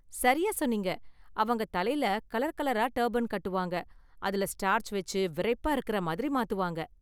சரியா சொன்னீங்க! அவங்க தலைல கலர் கலரா டர்பன் கட்டுவாங்க, அதுல ஸ்டார்ச் வெச்சு விறைப்பா இருக்குற மாதிரி மாத்துவாங்க.